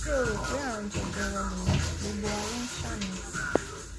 ṣé o rò pé àrùn jẹjẹrẹ lèyí gbogbo wa ló ń ṣàníyàn